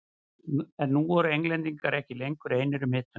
En nú voru Englendingar ekki lengur einir um hituna.